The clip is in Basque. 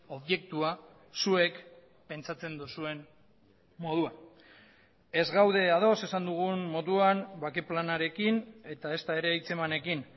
objektua zuek pentsatzen duzuen moduan ez gaude ados esan dugun moduan bake planarekin eta ezta ere hitzemanekin